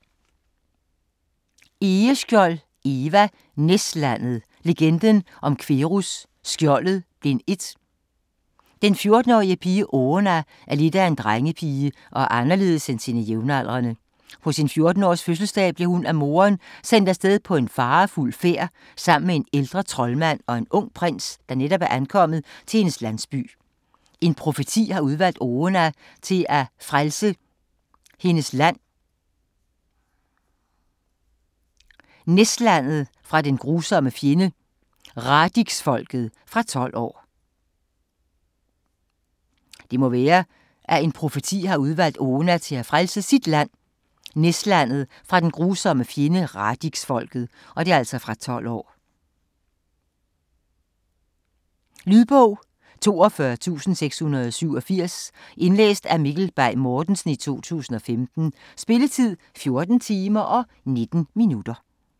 Egeskjold, Eva: Næslandet: Legenden om Querqus Skjoldet: Bind 1 Den 14-årige pige Oona er lidt af en drengepige og er anderledes end sine jævnaldrende. På sin 14-års fødselsdag bliver hun af moderen sendt afsted på en farefuld færd sammen med en ældre troldmand og en ung prins, der netop er ankommet til hendes landsby. En profeti har udvalgt Oona til at frelse hendes land, Næslandet fra den grusomme fjende, Radixfolket. Fra 12 år. Lydbog 42687 Indlæst af Mikkel Bay Mortensen, 2015. Spilletid: 14 timer, 19 minutter.